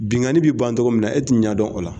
Bingani bɛ ban togo min na e tɛ ɲɛ dɔn o la.